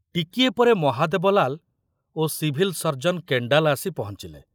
ଟିକିଏ ପରେ ମହାଦେବ ଲାଲ ଓ ସିଭିଲ ସର୍ଜନ କେଣ୍ଡାଲ ଆସି ପହଞ୍ଚିଲେ।